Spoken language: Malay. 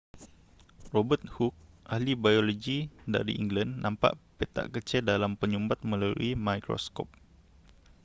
robert hooke ahli biologi dari england nampak petak kecil dalam penyumbat melalui mikroskop